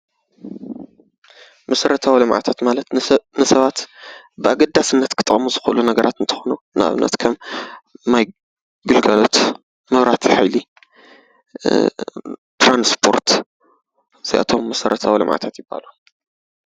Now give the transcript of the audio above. መሰረታዊ ልምዓታት ማለት ሰባት ብኣገዳስነት ክጠቅሙ ዝክእሉ ነገራት እንትኮኑ ንኣብነት ከም ማይ ግልጋሎት፣ መብራህቲ ሓይሊ፣ ትራንስፖርት እዚኣቶም መሰረታዊ ልምዓታት ይበሃሉ።